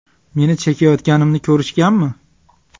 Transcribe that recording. Meni chekayotganimni ko‘rishganmi?